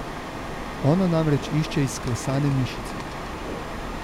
Ona namreč išče izklesane mišice.